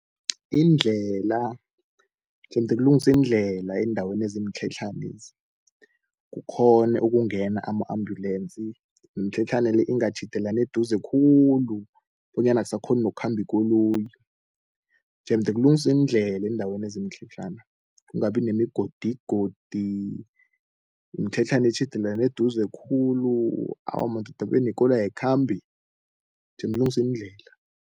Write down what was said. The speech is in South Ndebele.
Iindlela jemde kulungiswe iindlela eendaweni ezimtlhatlhanezi, kukhone ukungena ama-ambulance, nemtlhatlhane le ingatjhidelani eduze khulu bonyana akusakhoni nokukhamba ikoloyi. Jemde kulungiswe iindlela eendaweni ezimtlhetlhana, kungabi nemigodigodi nemtlhatlhane etjhidelane eduze khulu, awa madoda benekoloyi ayikhambi, jemde kulungiswe iindlela.